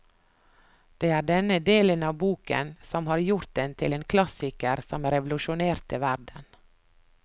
Det er denne delen av boken som har gjort den til en klassiker som revolusjonerte verden.